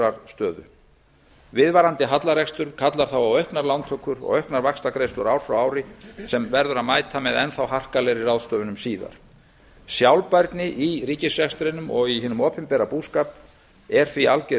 stöðu viðvarandi hallarekstur kallar þá á auknar lántökur og auknar vaxtagreiðslur ár frá ári sem verður að mæta með enn þá harkalegri ráðstöfunum síðar sjálfbærni í ríkisrekstrinum og í hinum opinbera búskap er því alger